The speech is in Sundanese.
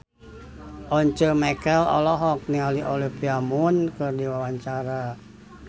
Once Mekel olohok ningali Olivia Munn keur diwawancara